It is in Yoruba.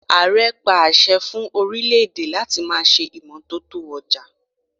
Ààre pa àṣẹ fún orílè-èdè láti ma ṣe imọtoto ọjà.